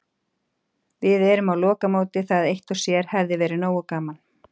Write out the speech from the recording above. Við erum á lokamóti, það eitt og sér hefði verið nógu gaman.